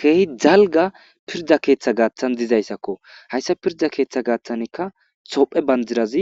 Keeh dalga pirda ketha gathan dizaysakko haysa pirda ketha gathanka tophiya bandiraz